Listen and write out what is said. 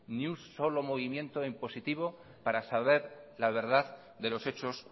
ni un solo movimiento en positivo para saber la verdad de los hechos